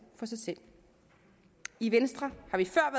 for selv i venstre